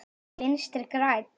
Ekki Vinstri græn.